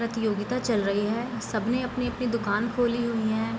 प्रतियोगिता चल रही है सब ने अपनी-अपनी दुकान खोली हुई है।